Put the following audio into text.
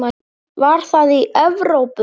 Var það í Evrópu?